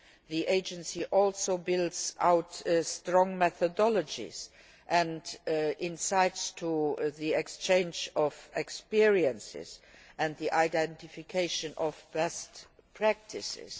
the agency also builds up strong methodologies and insights concerning the exchange of experiences and the identification of best practices.